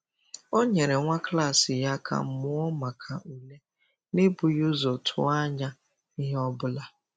Ọ nyere nwa klas ya aka mụọ maka ule n’ebughị ụzọ tụọ anya ihe ọ bụla.